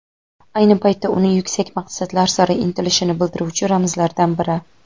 ayni paytda uni yuksak maqsadlar sari intilishini bildiruvchi ramzlardan biri.